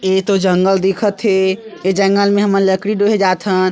एतो जंगल दिखत हे ए जंगल में हमन लकड़ी डोहे जाथन--